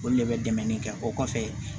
Olu de bɛ dɛmɛli kɛ o kɔfɛ